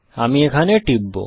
আমি এখানে টিপব